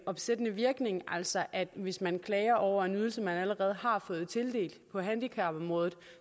opsættende virkning altså at hvis man klager over en ydelse man allerede har fået tildelt på handicapområdet